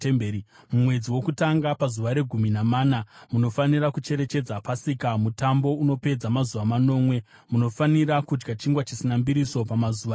“ ‘Mumwedzi wokutanga pazuva regumi namana munofanira kucherechedza Pasika, mutambo unopedza mazuva manomwe, munofanira kudya chingwa chisina mbiriso pamazuva iwayo.